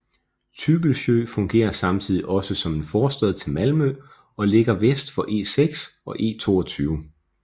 Tygelsjö fungerer samtidig også som en forstad til Malmø og ligger vest for E6 og E22